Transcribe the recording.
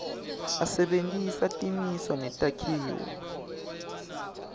asebentisa timiso netakhiwo